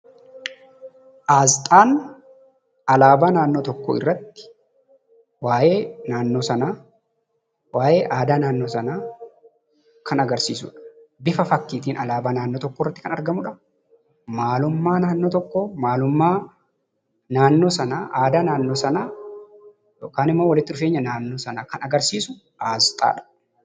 Asxaan alaabaa naannoo tokkoo irratti waa'ee naannoo sanaa, waa'ee aadaa naannoo sanaa Kan agarsiisuudha. Bifa fakkiitiin alaabaa naannoo tokko irratti Kan argamudha. Maalummaa naannoo tokkoo, maalummaa naannoo sanaa, aadaa naannoo sanaa yookaan immoo walitti dhufeenya naannoo sanaa Kan agarsiisuu asxaadha.